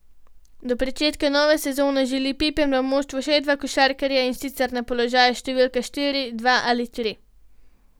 Do pričetka nove sezone želi Pipan v moštvu še dva košarkarja, in sicer na položaju številka štiri in dva ali tri.